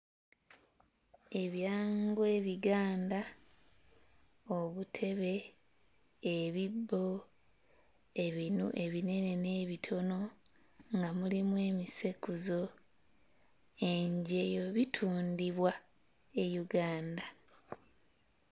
Ebyangwe ebiganda obutebe, ebibbo, ebinu ebinene n'ebitono nga mulimu emisekuzo, enjeyo bitundibwa e Uganda.